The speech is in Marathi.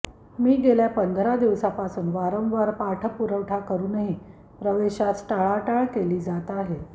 मी गेल्या पंधरा दिवसापासून वारंवार पाठपुरावा करुनही प्रवेशास टाळाटाळ केली जात आहे